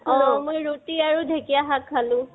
অ, মই ৰুটি আৰু ধেকিয়া শাক খালো